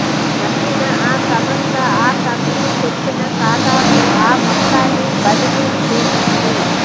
నమ్మిన ఆ సంస్థ ఆ కంపెనీ చెప్పిన ఖాతాకు ఆ మొత్తాన్ని బదిలీ చేసింది